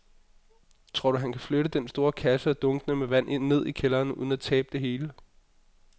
Tror du, at han kan flytte den store kasse og dunkene med vand ned i kælderen uden at tabe det hele?